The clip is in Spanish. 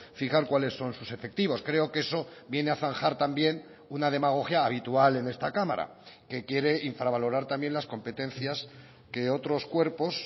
fijar cuáles son sus efectivos creo que eso viene a zanjar también una demagogia habitual en esta cámara que quiere infravalorar también las competencias que otros cuerpos